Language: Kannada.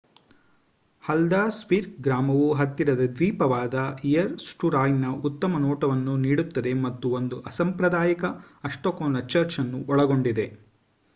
ಹಲ್ದರ್ಸ್ವಿಕ್ ಗ್ರಾಮವು ಹತ್ತಿರದ ದ್ವೀಪವಾದ ಇಯಸ್ಟುರಾಯ್ನ ಉತ್ತಮ ನೋಟವನ್ನು ನೀಡುತ್ತದೆ ಹಾಗೂ ಒಂದು ಅಸಾಂಪ್ರದಾಯಿಕ ಅಷ್ಟಕೋನ ಚರ್ಚ್ ಅನ್ನು ಒಳಗೊಂಡಿದೆ